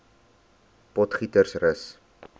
potgietersrus